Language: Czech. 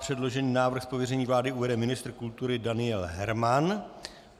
Předložený návrh z pověření vlády uvede ministr kultury Daniel Herman.